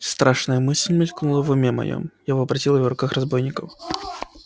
страшная мысль мелькнула в уме моём я вообразил её в руках у разбойников